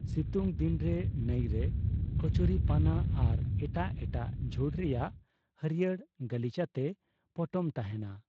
ᱥᱤᱛᱩᱝ ᱫᱤᱱᱨᱮ, ᱱᱟᱭᱨᱮ ᱠᱚᱪᱩᱨᱤᱯᱟᱱᱟ ᱟᱨ ᱮᱴᱟᱜ ᱮᱴᱟᱜ ᱡᱷᱩᱲ ᱨᱮᱭᱟᱜ ᱦᱟᱹᱨᱭᱟᱹᱲ ᱜᱟᱹᱞᱤᱪᱟᱛᱮ ᱯᱚᱴᱚᱢ ᱛᱟᱦᱮᱸᱱᱟ ᱾